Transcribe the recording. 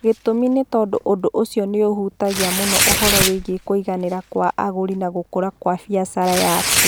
Gĩtũmi nĩ tondũ ũndũ ũcio nĩ ũhutagia mũno ũhoro wĩgiĩ kũiganĩra kwa agũri na gũkũra kwa biacara yaku.